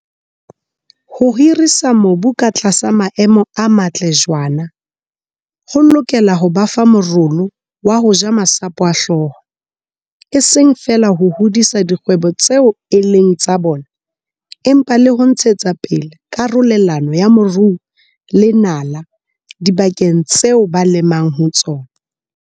Ho hirisa mobu ka tlasa maemo a matle jwaana ho lokela ho ba fa morolo wa ho ja masapo a hlooho, e seng feela ho hodisa dikgwebo tseo e leng tsa bona empa le ho ntshetsa pele karolelano ya moruo le nala dibakeng tseo ba lemang ho tsona.